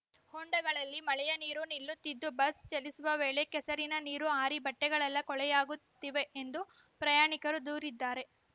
ಹೊಂಡಗಳಲ್ಲಿ ಮಳೆಯ ನೀರು ನಿಲ್ಲುತ್ತಿದ್ದು ಬಸ್‌ ಚಲಿಸುವ ವೇಳೆ ಕೆಸರಿನ ನೀರು ಹಾರಿ ಬಟ್ಟೆಗಳೆಲ್ಲ ಕೊಲೆಯಕಾಗುತ್ತಿವೆ ಎಂದು ಪ್ರಯಾಣಿಕರು ದೂರಿದ್ದಾರೆ